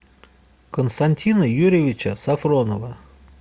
константина юрьевича софронова